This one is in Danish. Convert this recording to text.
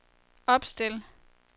opstil